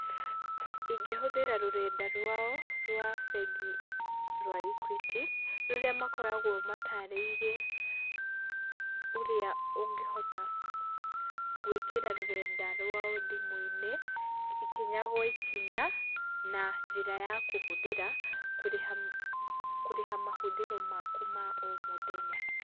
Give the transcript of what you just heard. Ingĩhũthĩra rũrenda rwao, rwa bengi rwa Equity, rũrĩa makoragwo mataarĩirie ũrĩa ũngĩhota gũĩkĩra rũrenda rwao thimũ-inĩ, ikinya gwa ikinya, na njĩra ya kũhũthĩra kũrĩha, kũrĩha mahũthĩro maku ma o mũthenya.